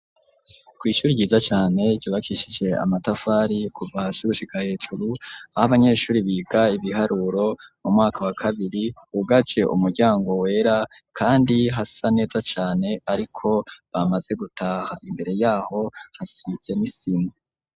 Kw’ishuri ryiza cane, ryubakishije amatafari kuva hasi gushika hejuru, aho abanyeshuri biga ibiharuro mu mwaka wa kabiri, hugaje umuryango wera kandi hasa neza cane, ariko bamaze gutaha, imbere y'aho hasize n'isima.